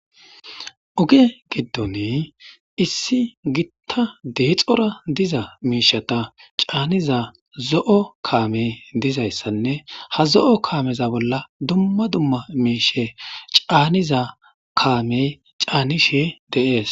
Oge giddone issi gitta deexora diza meishata caaniza zo'o kaamey dizayssanne ha zo'o kaameza bolla dumma dumma meishe caaniza kaamey caanishe deees.